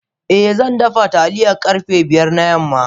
Eh zandafa taliya karfe biyar na yamma.